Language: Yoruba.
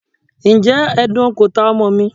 Ǹjẹ́ edan kò ta ọmọ mi?